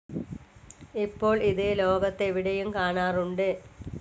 ഇപ്പോൾ ഇത് ലോകത്തു എവിടെയും കാണാറുണ്ട്.